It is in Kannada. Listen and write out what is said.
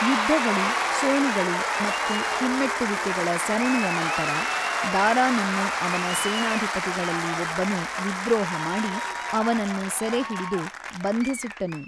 ಯುದ್ಧಗಳು, ಸೋಲುಗಳು ಮತ್ತು ಹಿಮ್ಮೆಟ್ಟುವಿಕೆಗಳ ಸರಣಿಯ ನಂತರ, ದಾರಾನನ್ನು ಅವನ ಸೇನಾಧಿಪತಿಗಳಲ್ಲಿ ಒಬ್ಬನು ವಿದ್ರೋಹ ಮಾಡಿ, ಅವನನ್ನು ಸೆರೆಹಿಡಿದು ಬಂಧಿಸಿಟ್ಟನು.